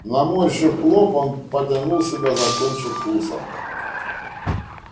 наморщив лоб он потянул себя за кончик уса